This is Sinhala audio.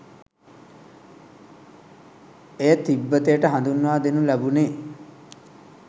එය තිබ්බතයට හඳුන්වා දෙනු ලැබුණේ